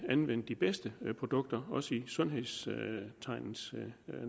anvende de bedste produkter også i sundhedens